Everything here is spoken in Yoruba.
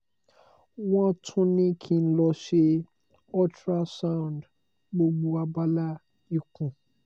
wọ́n tún ní kí n lọ ṣe ultrasound gbogbo abala ikùn